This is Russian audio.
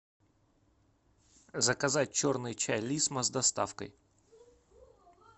заказать черный чай лисма с доставкой